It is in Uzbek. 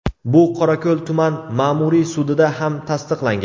Bu Qorako‘l tuman Ma’muriy sudida ham tasdiqlangan.